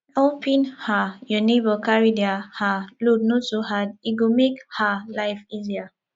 helping um your neighbor carry their um load no too hard e go make um life easier